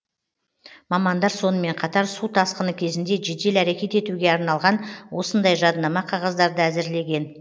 мамандар сонымен қатар су тасқыны кезінде жедел әрекет етуге арналған осындай жадынама қағаздарды әзірлеген